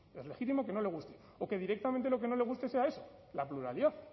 es legítimo que no le guste o que directamente lo que no le guste sea eso la pluralidad